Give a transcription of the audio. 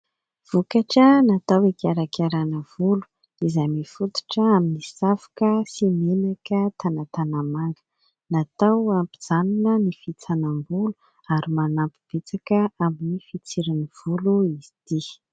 Vokatra natao hikarakarana volo izay mifototra amin'ny savoka sy menaka tanatanamanga. Natao hampijanona ny fihitsanam-bolo ary manampy betsaka amin'ny fitsirin'ny volo izy ity.